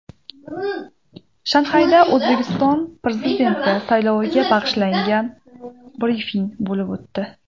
Shanxayda O‘zbekiston Prezidenti sayloviga bag‘ishlangan brifing bo‘lib o‘tdi.